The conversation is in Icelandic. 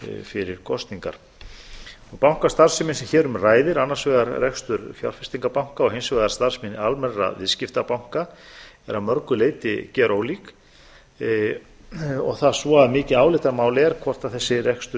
fyrir kosningar bankastarfsemi sem hér um ræðir annars vegar rekstur fjárfestingarbanka og hins vegar starfsemi almennra viðskiptabanka er að mörgu leyti gjörólík og það svo að mikið álitamál er hvort þessi rekstur